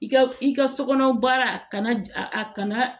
I ka i ka so kɔnɔ baara kana a a kana